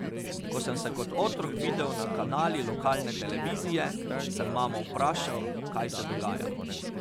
Ko sem se kot otrok videl na kanali lokalne televizije, sem mamo vprašal, kaj se dogaja.